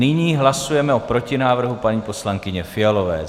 Nyní hlasujeme o protinávrhu paní poslankyně Fialové.